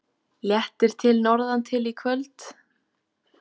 Léttir til norðantil í kvöld